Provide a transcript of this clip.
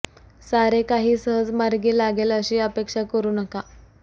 सारे काही सहज मार्गी लागेल अशी अपेक्षा करू नका